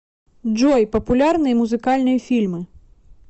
джой популярные музыкальные фильмы